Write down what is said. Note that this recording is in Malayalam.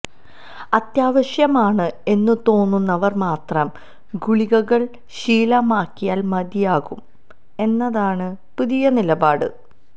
അത്യാവശ്യമാണ് എന്നു തോന്നുന്നവര് മാത്രം ഗുളികകള് ശീലമാക്കിയാല് മതിയാകും എന്നതാണ് പുതിയ നിലപാട്